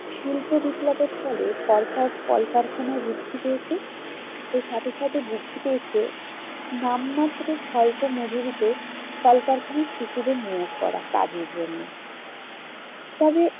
শিল্প বিপ্লবের ফলে কলকার~ কলকারখানা বৃদ্ধি পেয়েছে। এর সাথে সাথে বৃদ্ধি পেয়েছে নাম মাত্র স্বল্প মজুরিতে কলকারখানায় শিশুদের নিয়োগ করা কাজের জন্য। তবে